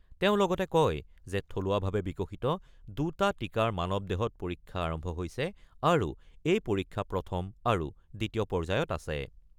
তেওঁ লগতে কয় যে থলুৱাভাৱে বিকশিত দুটা টিকাৰ মানৱ দেহত পৰীক্ষা আৰম্ভ হৈছে আৰু এই পৰীক্ষা প্ৰথম আৰু দ্বিতীয় পৰ্যায়ত আছে।